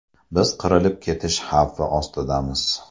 Biz qirilib ketish xavfi ostidamiz.